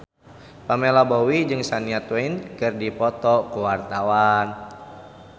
Pamela Bowie jeung Shania Twain keur dipoto ku wartawan